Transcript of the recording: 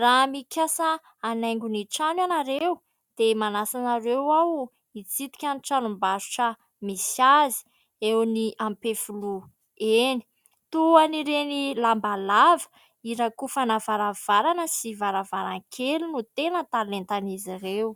Raha mikasa hanaingo ny trano ianareo dia manasa anareo aho hitsidika ny tranom-barotra misy azy eo any ampefiloha eny ; toy ireny lamba lava hirakofana varavarana sy varavaran-kely no tena talentan'izy ireo.